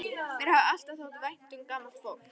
Mér hefur alltaf þótt vænt um gamalt fólk.